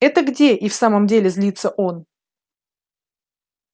это где и в самом деле злится он